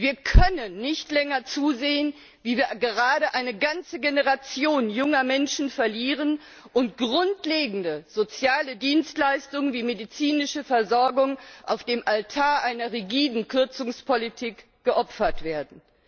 Wir können nicht länger zusehen, wie wir gerade eine ganze Generation junger Menschen verlieren und grundlegende soziale Dienstleistungen wie medizinische Versorgung auf dem Altar einer rigiden Kürzungspolitik geopfert werden.